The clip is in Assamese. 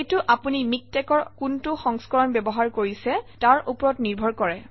এইটো আপুনি MikTeX অৰ কোনটো সংস্কৰণ ব্যৱহাৰ কৰিছে তাৰ ওপৰত নিৰ্ভৰ কৰে